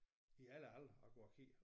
I alle aldre og går og kigger